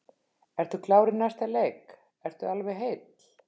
Ertu klár í næsta leik, ertu alveg heill?